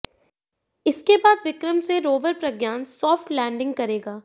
इसके बाद विक्रम से रोवर प्रज्ञान सॉफ्ट लैंडिंग करेगा